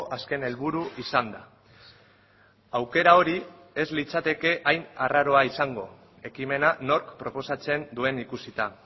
azken helburu izanda aukera hori ez litzateke hain arraroa izango ekimena nork proposatzen duen ikusita